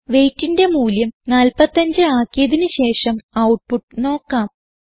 weightന്റെ മൂല്യം 45 ആക്കിയതിന് ശേഷം ഔട്ട്പുട്ട് നോക്കാം